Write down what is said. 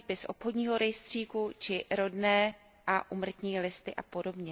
výpis z obchodního rejstříku či rodné a úmrtní listy apod.